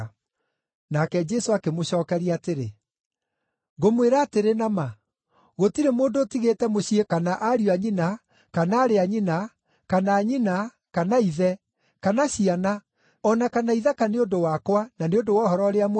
Nake Jesũ akĩmũcookeria atĩrĩ, “Ngũmwĩra atĩrĩ na ma, gũtirĩ mũndũ ũtigĩte mũciĩ kana ariũ a nyina, kana aarĩ a nyina, kana nyina, kana ithe, kana ciana, o na kana ithaka nĩ ũndũ wakwa, na nĩ ũndũ wa Ũhoro-ũrĩa-Mwega,